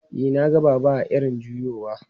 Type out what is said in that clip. E, na ga Baba a irin juyowa.